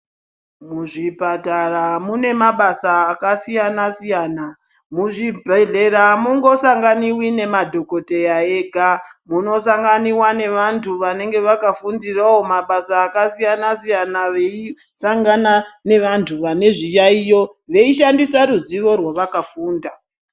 Muzvipatara mune mabasa akasiyana-siyana. Muzvibhedhlera amungosanganiwi nemadhokoteya ega, munosanganiwa nevantu vanenge vakafundirawo mabasa akasiyana-siyana, veisangana nevantu vane zviyaiyo, veishandisa ruzivo rwavakafunda.